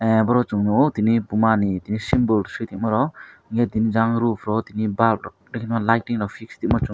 ah boro chong nogo tini puma ni tini symbol si tongma rok hingke tini jang ro po tini balp rok tuima lighting rok fix tuima chung.